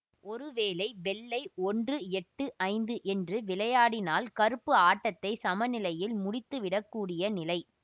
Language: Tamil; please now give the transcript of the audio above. ஒருவேளை வெள்ளை ஒன்று எட்டு ஐந்து என்று விளையாடினால் கருப்பு ஆட்டத்தை சமநிலையில் முடித்துவிடக் கூடிய நிலை